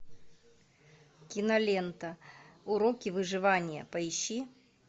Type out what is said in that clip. кинолента уроки выживания поищи